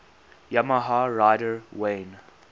yamaha rider wayne